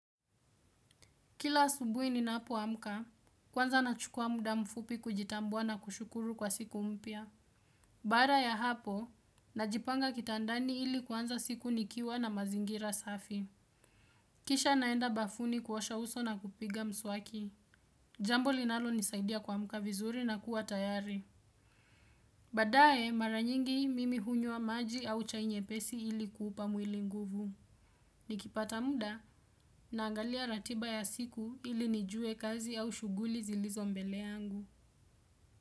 Kila asubuhi ninapo amka, kwanza nachukua muda mfupi kujitambua na kushukuru kwa siku mpya. Baada ya hapo, najipanga kitandani ili kuanza siku nikiwa na mazingira safi. Kisha naenda bafuni kuosha uso na kupiga mswaki. Jambo linalo nisaidia ku amka vizuri na kuwa tayari baadae, mara nyingi mimi hunywa maji au chai nyepesi ili kuupa mwili nguvu. Nikipata muda na angalia ratiba ya siku ili nijue kazi au shughuli zilizo mbele yangu.